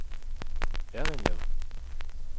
Errindlev